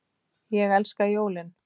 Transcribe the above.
Ég elska jólin!